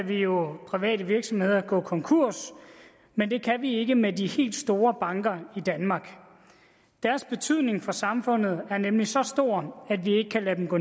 vi jo private virksomheder gå konkurs men det kan vi ikke med de helt store banker i danmark deres betydning for samfundet er nemlig så stor at vi ikke kan lade dem gå